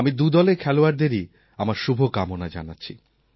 আমি দুদলের খেলোয়াড়দেরই আমার শুভকামনা জানাচ্ছি